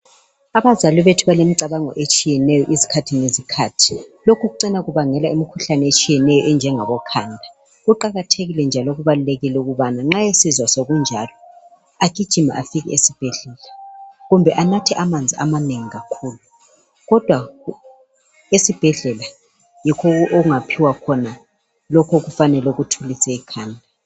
Abazali bethu balemicabango etshiyeneyo isikhathi lezikhathi lokho kucina kubangela imikhuhlane etshiyeneyo enjengabo khanda kuqakathekile njalo kubalulekile ukuthi nxa esesizwa sokunjalo agijime aye esibhedlela kumbe anathe amanzi amanengi kakhulu kodwa esibhedlela yikholapha anikwa khona lokho okuthulisa ikhanda.